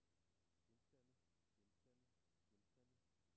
genstande genstande genstande